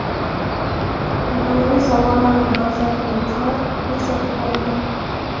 An’anaviy sovg‘alarni afzal biluvchilar gul sotib oladi.